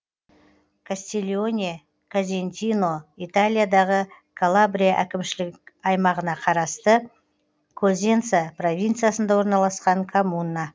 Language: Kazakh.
кастильоне козентино италиядағы калабрия әкімшілік аймағына қарасты козенца провинциясында орналасқан коммуна